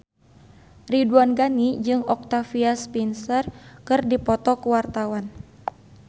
Ridwan Ghani jeung Octavia Spencer keur dipoto ku wartawan